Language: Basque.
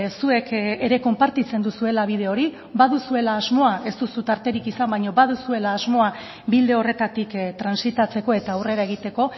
zuek ere konpartitzen duzuela bide hori baduzuela asmoa ez duzu tarterik izan baina baduzuela asmoa bide horretatik transitatzeko eta aurrera egiteko